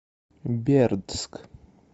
бердск